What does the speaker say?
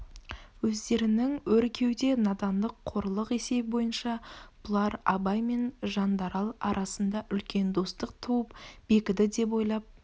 өздерінің өр кеуде надандық қорлық есебі бойынша бұлар абай мен жандарал арасында үлкен достық туып бекіді деп ойлап